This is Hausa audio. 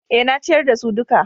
Eh, na ciyar da su duka